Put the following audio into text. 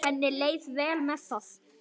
Henni leið vel með það.